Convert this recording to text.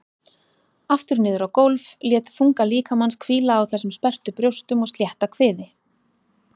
Aftur niður á gólf, lét þunga líkamans hvíla á þessum sperrtu brjóstum og slétta kviði.